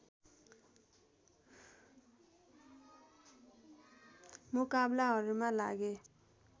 मुकाबलहरूमा लगे